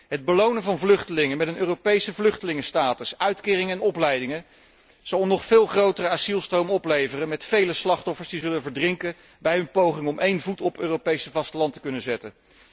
Het belonen van vluchtelingen met een Europese vluchtelingenstatus, uitkeringen en opleidingen, zal een nog veel grotere asielstroom opleveren met vele slachtoffers die zullen verdrinken bij hun poging om één voet op het Europese vasteland te kunnen zetten.